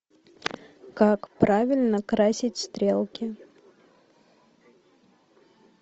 как правильно красить стрелки